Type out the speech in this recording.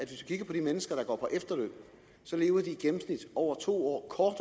vi kigger på de mennesker der går på efterløn så lever de i gennemsnit over to år